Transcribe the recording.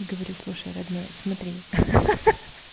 и говори слушай родной смотри ха-ха